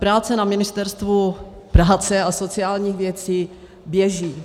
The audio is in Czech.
Práce na Ministerstvu práce a sociálních věcí běží.